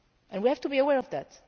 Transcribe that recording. We have to be aware of that,